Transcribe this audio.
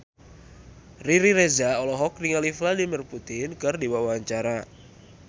Riri Reza olohok ningali Vladimir Putin keur diwawancara